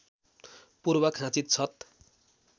पूर्व खाँचित छत